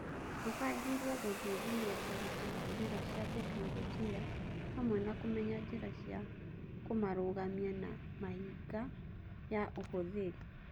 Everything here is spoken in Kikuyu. Mabangĩirwo gũthuthuria ũritũ wa njĩra cia tekinoronjĩ hamwe na kũmenya njĩra cia kũmarũgamia na mĩhĩnga ya ũhũthĩri.